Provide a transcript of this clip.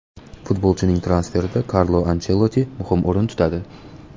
Futbolchining transferida Karlo Anchelotti muhim o‘rin tutadi.